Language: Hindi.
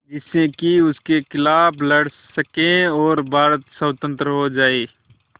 जिससे कि उनके खिलाफ़ लड़ सकें और भारत स्वतंत्र हो जाये